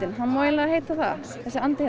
hann má eiginlega heita það þessi andi